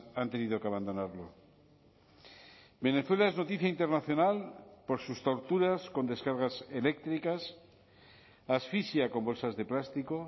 han tenido que abandonarlo venezuela es noticia internacional por sus torturas con descargas eléctricas asfixia con bolsas de plástico